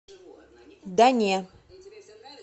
да не